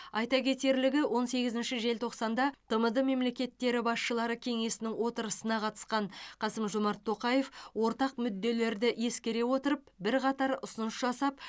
айта кетерлігі он сегізінші желтоқсанда тмд мемлекеттері басшылары кеңесінің отырысына қатысқан қасым жомарт тоқаев ортақ мүдделерді ескере отырып бірқатар ұсыныс жасап